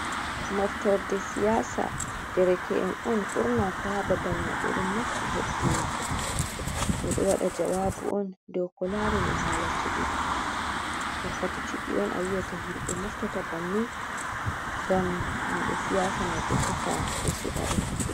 Moftorde siyaasa, dereke’en on burna fu haa babal mai ɓe ɗon mofti hebbini ɓe ɗo wada jawaabu on dow ko laarani haala cuɓi wakkati cuɓi on, a yia'ta himɓe moftata banni ngam himɓe siyasa mai dyo tefa ɓe suɓaɓe.